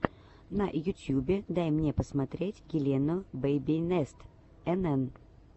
на ютьюбе дай мне посмотреть елену бэйбинест энэн